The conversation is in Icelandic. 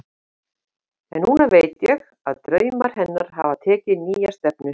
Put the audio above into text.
En núna veit ég að draumar hennar hafa tekið nýja stefnu.